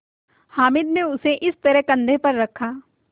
हामिद ने उसे इस तरह कंधे पर रखा